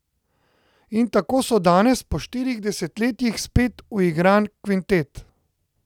In tako so danes, po štirih desetletjih, spet uigran kvintet.